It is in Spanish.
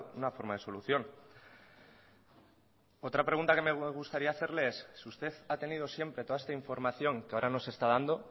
una forma de solución otra pregunta que me gustaría hacerle es si usted ha tenido siempre toda esta información que ahora nos está dando